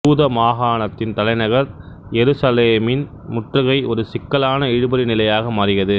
யூத மாகாணத்தின் தலைநகர் எருசலேமின் முற்றுகை ஒரு சிக்கலான இழுபறி நிலையாக மாறியது